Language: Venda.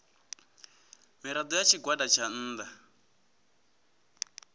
mirado ya tshigwada tsha nnda